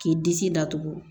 K'i disi datugu